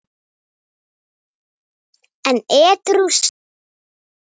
En edrú sagði hann